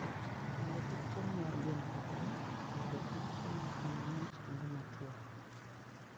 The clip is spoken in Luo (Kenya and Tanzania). Mondo kik chiemo mar gwen kethre, onego okan chiemono kama ng'ich kendo motwo.